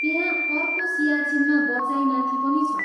त्यहाँ अर्को सियाचिनमा बँचाइमाथि पनि छ।